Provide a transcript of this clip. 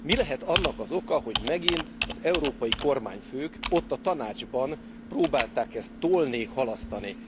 Mi lehet annak az oka, hogy megint az európai kormányfők, ott a Tanácsban próbálták ezt tolni, halasztani?